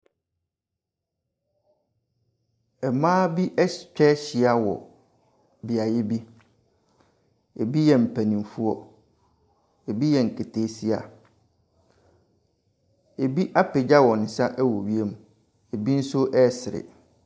Mmaa bi ahyi atwa ahyia wɔ beebi. Bi yɛ mpanimfoɔ, bi yɛ nkataasia, bi apagya wɔn wiem, bi nso ɛresere.